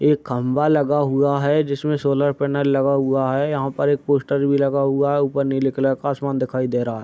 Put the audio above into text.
एक खंभा लगा हुआ है जिसमे सौलर पैनल लगा हुआ है। यहाँ पर एक पोस्टर भी लगा है ऊपर नीले कलर का आसमान दिखाई दे रहा है।